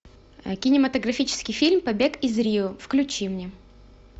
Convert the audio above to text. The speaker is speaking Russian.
кинематографический фильм побег из рио включи мне